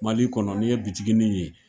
Mali kɔnɔ ni ye bitiginin ye.